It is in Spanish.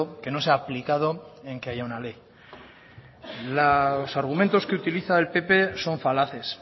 que no se ha aplicado en que haya una ley los argumentos que utiliza el pp son falaces